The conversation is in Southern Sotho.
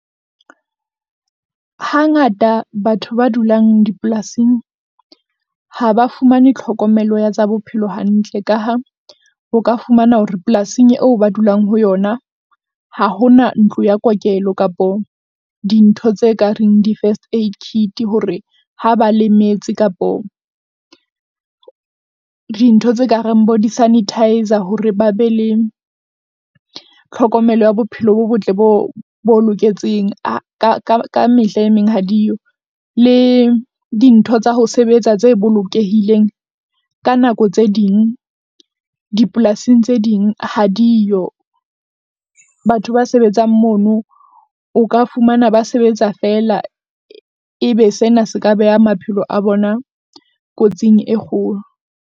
Hangata batho ba dulang dipolasing ha ba fumane tlhokomelo ya tsa bophelo hantle, ka ha o ka fumana hore polasing eo ba dulang ho yona. Ha ho na ntlo ya kokelo kapo dintho tse ka reng di-first aid kit hore ha ba lemetse kapo dintho tse ka reng bo di-sanitizer hore ba be le, tlhokomelo ya bophelo bo botle. Bo bo loketseng ka ka mehla e meng ha diyo le dintho tsa ho sebetsa tse bolokehileng, ka nako tse ding, dipolasing tse ding ha diyo batho ba sebetsang mono o ka fumana ba sebetsa feela, Ebe sena se ka beha maphelo a bona kotsing e kgolo.